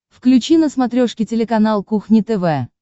включи на смотрешке телеканал кухня тв